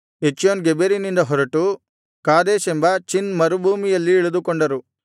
ಎಚ್ಯೋನ್ ಗೆಬೆರಿನಿಂದ ಹೊರಟು ಕಾದೇಶೆಂಬ ಚಿನ್ ಮರುಭೂಮಿಯಲ್ಲಿ ಇಳಿದುಕೊಂಡರು